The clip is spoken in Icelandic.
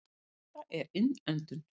Þetta er innöndun.